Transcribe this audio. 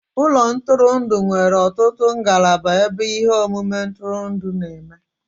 Ụlọ ntụrụndụ nwere ọtụtụ ngalaba ebe ihe omume ntụrụndụ na-eme